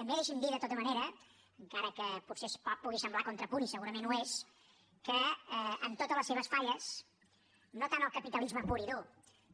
també deixi’m dir de tota manera encara que potser pugui semblar contrapunt i segurament ho és que amb totes les seves falles no tant el capitalisme pur i dur